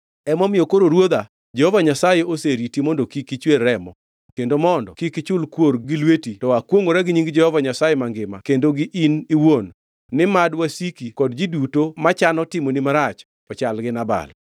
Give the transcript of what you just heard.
“Emomiyo koro ruodha, Jehova Nyasaye oseriti mondo kik ichwer remo kendo mondo kik ichul kuor gi lweti to akwongʼora gi nying Jehova Nyasaye mangima kendo gi in iwuon ni mad wasiki kod ji duto machano timoni marach ochal gi Nabal.